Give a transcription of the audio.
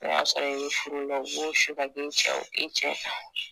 N'o y'a sɔrɔ i be furu la, u b'o su ka kɛ i cɛw i cɛ kan